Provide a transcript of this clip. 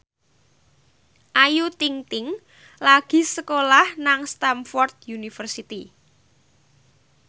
Ayu Ting ting lagi sekolah nang Stamford University